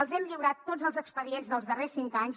els hem lliurat tots els expedients dels darrers cinc anys